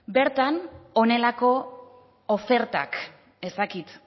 bertan honelako ofertak ez dakit